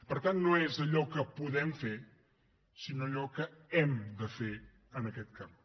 per tant no és allò que podem fer sinó allò que hem de fer en aquest camp